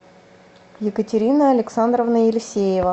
екатерина александровна елисеева